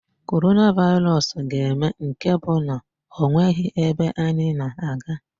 Coronavirus ga-eme nke bụ na ọ nweghi ebe anyị na-aga.